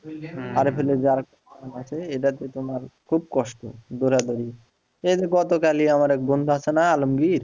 যে আছে এটা তে তোমার খুব কষ্ট দৌড়াদৌড়ি এই যে গতকালই আমার এক বন্ধু আছে না আলমগীর